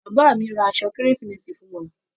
Bàbá mí o rá aṣọ kérésìmesì fún wà.